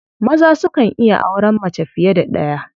Maza sukan iya auren mace fiye da ɗaya.